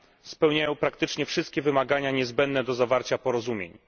spełniają praktycznie wszystkie wymagania niezbędne do zawarcia porozumień.